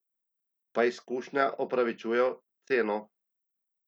Pa izkušnja opravičuje ceno?